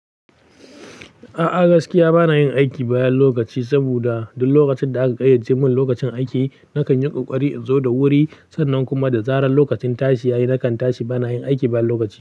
A'a gaskiya bana yin aiki bayan lokaci saboda duk lokacin da aka ƙayyace mun lokacin aiki, nakan yi ƙoƙari in zo da wuri sannan kuma da zarar lokacin tashi ya yi nakan tashi bana yin aiki bayan lokaci.